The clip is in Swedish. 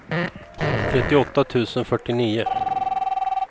trettioåtta tusen fyrtionio